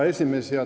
Hea esimees!